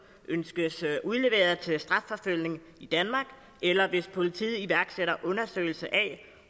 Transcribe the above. ønskes udleveret til strafforfølgning i danmark eller hvis politiet iværksætter undersøgelse af